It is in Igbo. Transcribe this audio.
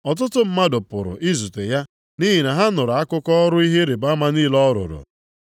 Ọtụtụ mmadụ pụrụ izute ya nʼihi na ha nụrụ akụkọ ọrụ ihe ịrịbama niile ọ rụrụ.